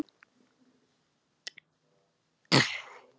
Úff, þau eru alltof mörg.